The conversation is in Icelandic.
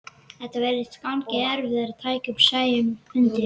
Þetta virðist ganga í erfðir, tekur Sæunn undir.